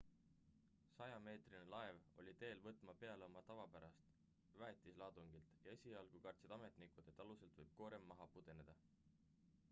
100-meetrine laev oli teel võtma peale oma tavapärast väetiselaadungit ja esialgu kartsid ametnikud et aluselt võib koorem maha pudeneda